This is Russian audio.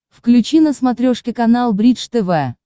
включи на смотрешке канал бридж тв